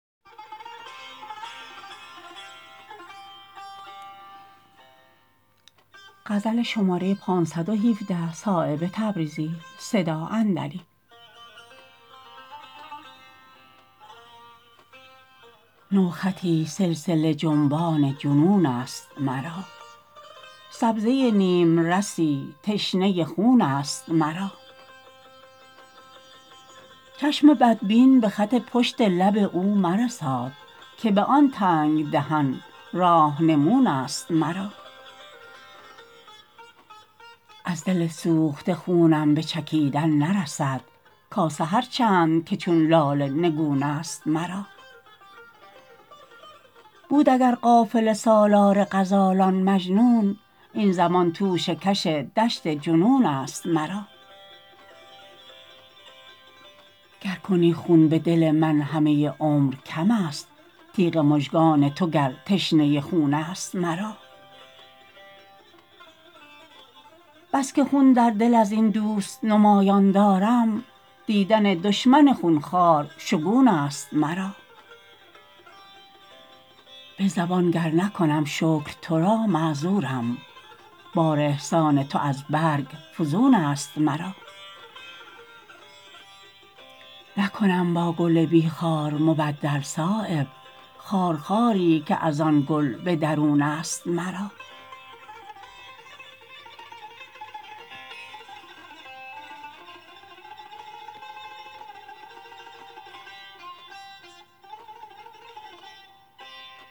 نوخطی سلسله جنبان جنون است مرا سبزه نیمرسی تشنه خون است مرا چشم بدبین به خط پشت لب او مرساد که به آن تنگ دهن راهنمون است مرا از دل سوخته خونم به چکیدن نرسد کاسه هر چند که چون لاله نگون است مرا بود اگر قافله سالار غزالان مجنون این زمان توشه کش دشت جنون است مرا گر کنی خون به دل من همه عمر کم است تیغ مژگان تو گر تشنه خون است مرا بس که خون در دل ازین دوست نمایان دارم دیدن دشمن خونخوار شگون است مرا به زبان گر نکنم شکر ترا معذورم بار احسان تو از برگ فزون است مرا نکنم با گل بی خار مبدل صایب خارخاری که ازان گل به درون است مرا